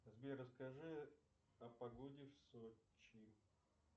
сбер расскажи о погоде в сочи